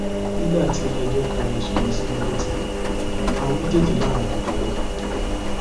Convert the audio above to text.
nígbà tiléẹjọ ka ẹsùn wọn sí wọn sí wọn létí àwọn méjèèjì làwọn kò jẹbi